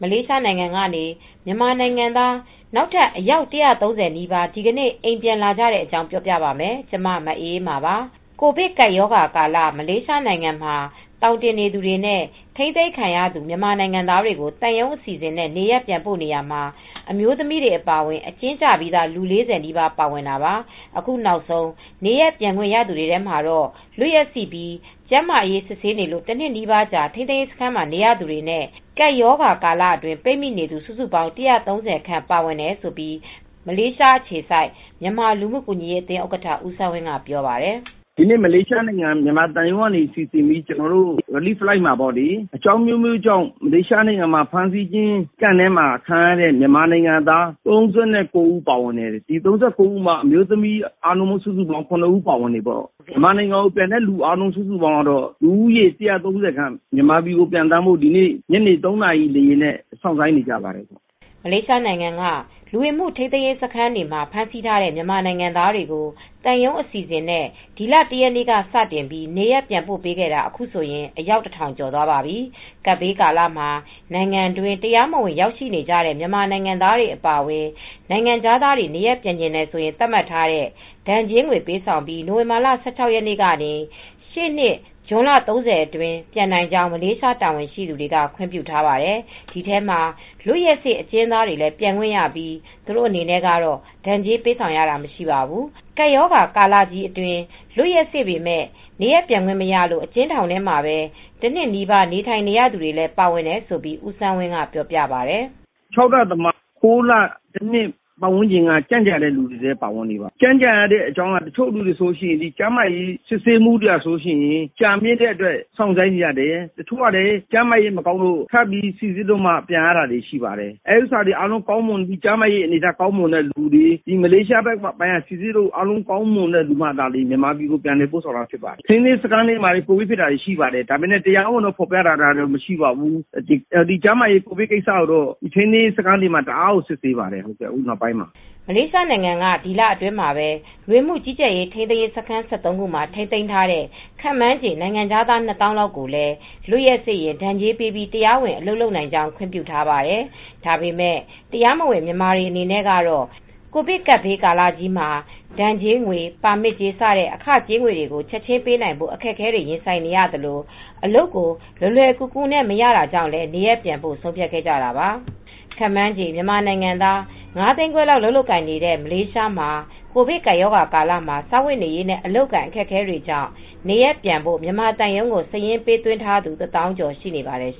လေးရှားနိုင်ငံကနေ မြန်မာနိုင်ငံသား နောက်ထပ် အယောက် ၁၃၀ နီးပါး ဒီကနေ့ နေရပ် မြန်မာနိုင်ငံကို ပြန်လာကြပါတယ်။ အပြည့်အစုံကို ထိုင်းအခြေစိုက် ဗွီအိုအေမြန်မာပိုင်း သတင်းထောက် မအေးအေးမာ တင်ပြပေးထားပါတယ်။ ကိုဗစ်ကပ်ရောဂါကာလ မလေးရှားနိုင်ငံမှာ သောင်တင်နေသူတွေနဲ့ ထိန်းသိမ်းခံထားရသူ မြန်မာနိုင်ငံသားတွေကို သံရုံးအစီအစဉ်နဲ့ နေရပ်ပြန်ပို့နေရာမှာ အမျိုးသမီးတွေ အပါအဝင် အကျဉ်းကျပြီးသား လူ ၄၀ နီးပါး ပါဝင်ခဲ့တာပါ။ အခုနောက်ဆုံး နေရပ်ပြန်ခွင့်ရသူတွေထဲမှာတော့ လွတ်ရက်စေ့ပြီး ကျန်းမာရေးစစ်ဆေးနေလို့ တနှစ်နီးပါး ထိန်းသိမ်းရေးစခန်းမှာ နေရသူတွေနဲ့ ကပ်ရောဂါကာလအတွင်း ပိတ်မိနေသူ စုစုပေါင်း ၁၃၀ ခန့် ပါဝင်တယ်လို့ မလေးရှားအခြေစိုက် မြန်မာလူမှုကူညီရေးအသင်း ဥက္ကဋ္ဌ ဦးစန်းဝင်းက ပြောပါတယ်။ “ဒီနေ့ မြန်မာသံရုံးက စီစဉ်ပြီး ကယ်ဆယ်ရေးလေယာဉ်မှာ အကြောင်းအမျိုးမျိုးကြောင့် ထိန်းသိမ်းရေးစခန်းတွေထဲမှာ ဖမ်းဆီးခံရတဲ့ အကျဉ်းသား ၃၉ ဦး ပါပါတယ်။ ဒီထဲမှာ အမျိုးသမီးတွေကတော့ ၇ ဦးပါပါတယ်။ မြန်မာနိုင်ငံကိုပြန်တဲ့သူ အားလုံးစုစုပေါင်း ၁၃၀ ခန့် မြန်မာပြည်ပြန်ဖို့ ဒီနေ့ ညနေ ၃ နာရီလေယာဉ်နဲ့ စောင့်ဆိုင်းနေကြပါတယ်။” မလေးရှားနိုင်ငံက လူဝင်မှုထိန်းသိမ်းရေးစခန်းတွေမှာ ဖမ်းဆီးထားတဲ့ မြန်မာနိုင်ငံသားတွေကို သံရုံးအစီအစဉ်နဲ့ ဒီလ ၁ ရက်နေ့က စတင်ပြီး နေရပ်ပြန်ပို့ပေးခဲ့တာ အခုဆိုရင် အယောက် ၁,၀၀၀ ကျော်သွားပါပြီ။ ကပ်ဘေးကာလမှာ နိုင်ငံတွင်း တရားမဝင် ရောက်ရှိနေတဲ့ မြန်မာနိုင်ငံသားတွေ အပါအဝင် နိုင်ငံခြားသားတွေ နေရပ်ပြန်ချင်တယ်ဆိုရင် သတ်မှတ်ထားတဲ့ ဒဏ်ကြေးငွေ ပေးဆောင်ပြီး နိုဝင်ဘာလ ၁၆ ရက်နေ့ကနေ ရှေ့နှစ် ဇွန်လ ၃၀ အတွင်း ပြန်နိုင်ကြောင်း မလေးရှား တာဝန်ရှိသူတွေက ခွင့်ပြုထားပါတယ်။ ဒီထဲမှာ လွတ်ရက်စေ့ အကျဉ်းသားတွေလည်း ပြန်ခွင့်ရပြီး သူတို့အနေနဲ့တော့ ဒဏ်ကြေးပေးဆောင်ရတာ မရှိပါဘူး။ ကပ်ရောဂါကာလကြီးအတွင်း လွတ်ရက်စေ့ပေမယ့် နေရပ်ပြန်ခွင့်မရလို့ အကျဉ်းထောင်ထဲမှာ တနှစ်နီးပါး နေထိုင်နေရသူတွေလည်း ပါတယ်လို့ ဦးစန်းဝင်းက ပြောပါတယ်။ “၆ လသမား၊ ၉ လ တနှစ် ကြန့်ကြာတဲ့သူတွေလည်း နေပါတယ်။ ကြန့်ကြာရတဲ့အကြောင်းက တချို့လူတွေက ကျန်းမာရေးစစ်ဆေးမှု ကြာမြင့်လို့ စောင့်ဆိုင်းရတယ်။ တချို့ကလည်း ကျန်းမာရေးမကောင်းလို့ ထပ်ပြီး စိစစ်ပြီးမှ ပြန်ရတယ်။ ကျန်းမာရေးကောင်းတဲ့သူတွေ မလေးရှား ထိန်းသိမ်းရေးစခန်းက အာဏာပိုင်တွေက စိစစ်လို့ ကျန်းမာတဲ့သူမှ ပြန်ရတယ်။ အဲဒီလို ကောင်းမွန်တဲ့သူမှသာ မြန်မာပြည်ကို ပြန်ပို့တာရှိပါတယ်။ ထိန်းသိမ်းရေးစခန်းမှာလည်း ကိုဗစ်ဖြစ်တာတွေ ရှိပါတယ်။ တရားဝင်တော့ မထုတ်ပြန်ပါဘူး။ ကျန်းမာရေးကိစ္စတွေကိုတော့ ထိန်းသိမ်းရေးစခန်းတွေမှာ တအားကို စစ်ဆေးနေပါတယ်၊ အခုနောက်ပိုင်းမှာပေါ့။” မလေးရှားနိုင်ငံအစိုးရက ဒီလအတွင်းမှာပဲ လူဝင်မှုကြီးကြပ်ရေး ထိန်းသိမ်းရေးစခန်း ၁၃ ခုမှာ ထိန်းသိမ်းထားတဲ့ ခန့်မှန်းခြေ နိုင်ငံခြားသား ၂၀,၀၀၀ လောက်ကိုလည်း လွတ်ရက်စေ့ရင် ဒဏ်ကြေးပေးပြီး တရားဝင် အလုပ်လုပ်နိုင်ကြောင်း ခွင့်ပြုထားပါတယ်။ ဒါပေမယ့် တရားမဝင် မြန်မာတွေ အနေနဲ့ကတော့ ကိုဗစ်ကပ်ဘေးကာလမှာ ဒဏ်ကြေး၊ ပါမစ်ကြေး စတဲ့ အခကြေးငွေတွေကို ချက်ချင်းပေးနိုင်ဖို့ အခက်အခဲတွေ ရင်ဆိုင်နေရသလို အလုပ်ကို လွယ်လွယ်ကူကူနဲ့ မရတာကြောင့်လည်း နေရပ်ပြန်ဖို့ ဆုံးဖြတ်ခဲ့ကြတာပါ။ ခန့်မှန်းခြေ မြန်မာနိုင်ငံသား ၅ သိန်းခွဲလောက် အလုပ်လုပ်ကိုင်နေတဲ့ မလေးရှားမှာ ကိုဗစ်ကပ်ရောဂါကာလမှာ စားဝတ်နေရေးနဲ့ အလုပ်အကိုင် အခက်အခဲတွေကြောင့် နေရပ်ပြန်ဖို့ မြန်မာသံရုံးမှာ စာရင်းပေးသွင်းထားသူ ၁၀,၀၀၀ ကျော်ရှိပါတယ်။